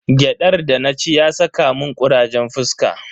Gyadar da na ci ya saka mun kurajen fuska.